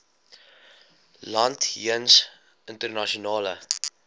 land jeens internasionale